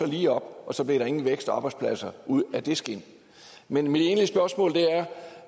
lige op og så blev der ingen vækst i arbejdspladser ud af det skind men mit egentlige spørgsmål er